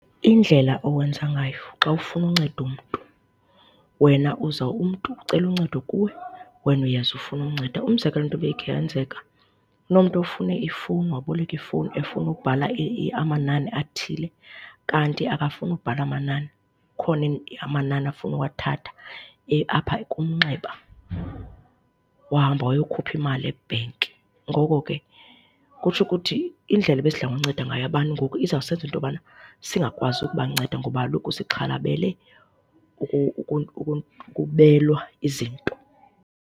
Indlela owenza ngayo xa ufuna unceda umntu. Wena uza umntu ucela uncedo kuwe, wena uyeza ufune unceda. Umzekelo wento ibikhe yenzeka, kunomntu ofune ifowuni, waboleka ifowuni efuna ukubhala amanani athile. Kanti akafuni ukubhala amanani, akhona amanani afuna uwathatha apha kumnxeba. Wahamba wayokhupha imali ebhenki. Ngoko ke kutsho ukuthi indlela ebesidla ngokunceda ngayo abantu ngoku izawusenza into yobana singakwazi ukubanceda ngoba kaloku sixhalabele ukubelwa izinto.